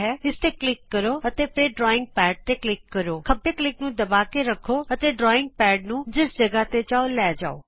ਇਸ ਤੇ ਕਲਿਕ ਕਰੋ ਅਤੇ ਫੇਰ ਡਰਾਇੰਗ ਪੈਡ ਤੇ ਕਲਿਕ ਕਰੋਖੱਬੇ ਕਲਿਕ ਨੂੰ ਦੱਬਾ ਕੇ ਰੱਖੋ ਅਤੇ ਡਰਾਇੰਗ ਪੈਡ ਨੂੰ ਜਿਸ ਜਗਾਹ ਤੇ ਚਾਹੋ ਲੈ ਜਾਉ